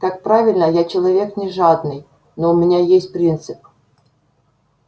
как правильно я человек не жадный но у меня есть принцип